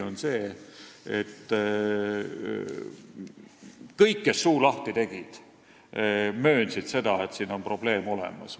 Tõsi on see, et kõik, kes suu lahti tegid, möönsid seda, et siin on probleem olemas.